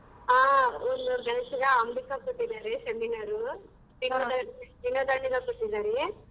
ಹಾ ಅಂಬಿಕಾಗ್ ಕೊಟ್ಟಿದ್ದಾರೆ seminar ವಿನೋದ ವಿನೋದಣ್ಣಂಗ್ ಕೊಟ್ತಿದ್ದಾರೇ.